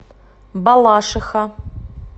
балашиха